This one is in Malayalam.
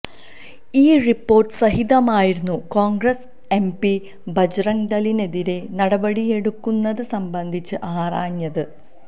ഈ റിപോര്ട്ട് സഹിതമായിരുന്നു കോണ്ഗ്രസ് എം പി ബജ്റംഗ്ദളിനെതിരേ നടപടിയെടുക്കുന്നത് സംബന്ധിച്ച് ആരാഞ്ഞത്